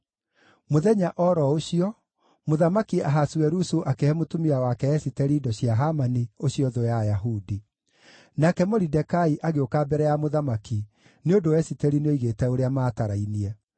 Mũthenya o ro ũcio, Mũthamaki Ahasuerusu akĩhe mũtumia wake Esiteri indo cia Hamani, ũcio thũ ya Ayahudi. Nake Moridekai agĩũka mbere ya mũthamaki, nĩ ũndũ Esiteri nĩoigĩte ũrĩa maatarainie.